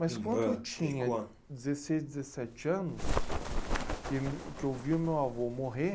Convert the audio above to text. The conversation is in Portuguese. Mas quando eu tinha dezesseis, dezessete anos, que eu me, que eu vi o meu avô morrer,